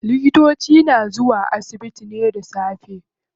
Likitoci na zuwa asibiti ne da safe.